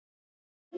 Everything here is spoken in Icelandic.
kalla þeir.